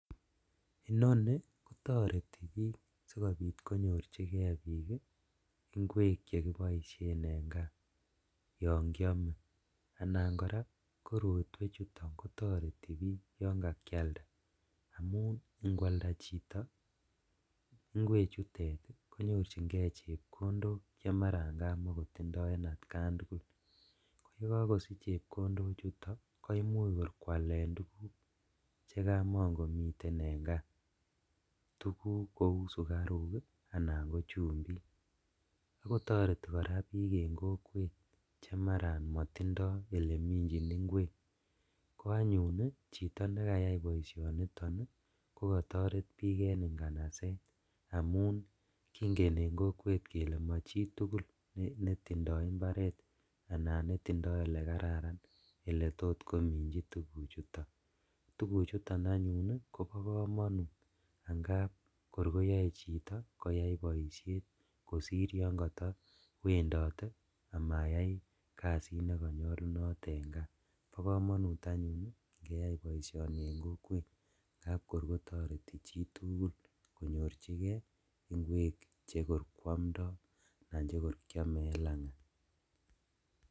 Inoni kotoreti bik sikobit konyor bik inkwek chekiboishen en kaa yon kiome anan koraa korotwechuton kotoreti bik yon ka kialda amun ikwalda chito inkwechutet konorjingee chepkondok chemaran kamakotindo en atkan tugul , ye kokosich chepkondochuto koimuch kor kwalen tuguk chekamokomiten en kaa tuguk kou sukaruk anan ko chumbik kotoreti koraa bik en kokwet chemaran motindo eleminjin inkwek, ko anyuun chito nekayai boishoniton ii ko kotoreti bik en inganaset amun kingen en kokwet kele mochitugul netindo imbaret anan netindo elekararan eletot kominjin tuguchuton, tuguchuto anyuun kobo komonut angap kor koyoe chito koyai boishet kosir yon kotowendote amayai kasit nekotonyolunot en kaa bo komonut anyuun ingeyai boisioni ingap kor kotoreti chitugul konyorjigee inkwek chekor kiomdo anan chekir kiome lang'at.